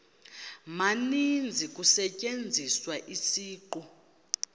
maninzi kusetyenziswa isiqu